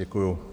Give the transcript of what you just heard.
Děkuji.